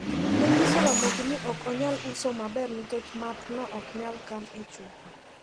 Nonyiso Ramogi ni ok onyal uso maber nikech math no oknyal kan e chupa.